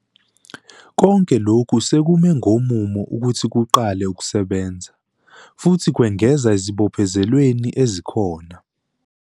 Konke lokhu sekume ngomumo ukuthi kuqale ukusebenza, futhi kwengeza ezibophezelweni ezikhona.